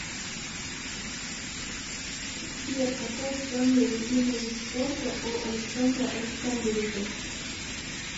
сбер какой самый любимый вид спорта у александра александровича